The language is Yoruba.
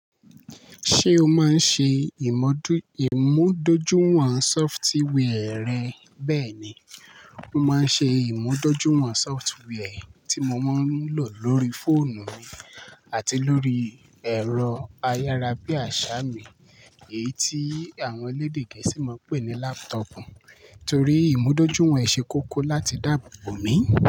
Ṣé o máa ń ṣe ìmúdójúìwọ̀n sọftiwià rẹ bẹ́ẹ̀ni, mo máa ń ṣe ìmúdójúìwọ̀n sọftwià tí mo máa ń lò lórí fóònù mi àti lórí ẹ̀rọ ayára bí àṣá mi, èyí tí àwọn elédè gẹ̀ẹ́sì máa ń pè ní lápútọ̀pù torí ìmúdójúìwọ̀n ṣe kókó láti dáàbò bo mi.